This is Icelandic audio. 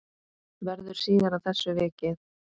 Verður síðar að þessu vikið.